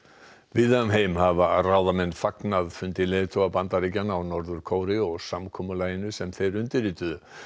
víða um heim hafa ráðamenn fagnað fundi leiðtoga Bandaríkjanna og Norður Kóreu og samkomulagi sem þeir undirrituðu